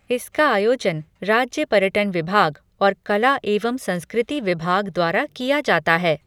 इसका आयोजन राज्य पर्यटन विभाग और कला एवं संस्कृति विभाग द्वारा किया जाता है।